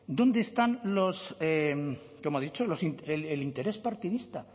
dónde están los cómo ha dicho el interés partidista